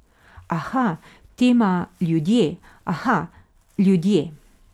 Aha, tema, ljudje, aha, ljudje.